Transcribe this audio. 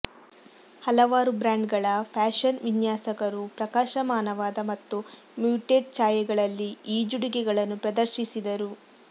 ಹಲವಾರು ಬ್ರ್ಯಾಂಡ್ಗಳ ಫ್ಯಾಷನ್ ವಿನ್ಯಾಸಕರು ಪ್ರಕಾಶಮಾನವಾದ ಮತ್ತು ಮ್ಯೂಟ್ಡ್ ಛಾಯೆಗಳಲ್ಲಿ ಈಜುಡುಗೆಗಳನ್ನು ಪ್ರದರ್ಶಿಸಿದರು